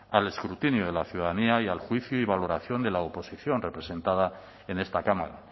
al escrutinio de la ciudadanía y al juicio y valoración de la oposición representada en esta cámara